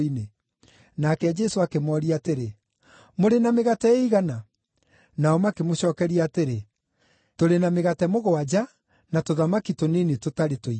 Nake Jesũ akĩmooria, atĩrĩ, “Mũrĩ na mĩgate ĩigana?” Nao makĩmũcookeria atĩrĩ, “Tũrĩ na mĩgate mũgwanja, na tũthamaki tũnini tũtarĩ tũingĩ.”